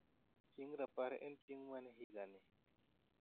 chieng rapar en chieng' mane higani